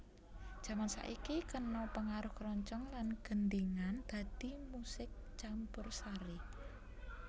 Jaman saiki kena pangaruh kroncong lan gendhingan dadi musik campursari